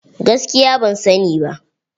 Gaskiya ban sa ni ba.